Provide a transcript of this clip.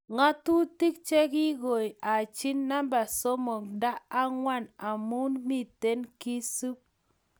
ngatutik che kigoi Haji namba somok nta angwan amu miten keesup.